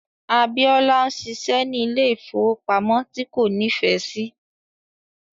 Abiola ń ṣiṣẹ́ ní ilé ìfowópamọ́ tí kò nífẹ̀ẹ́ sí.